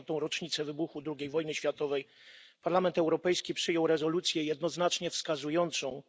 80. rocznicę wybuchu II wojny światowej Parlament Europejski przyjął rezolucję jednoznacznie wskazującą,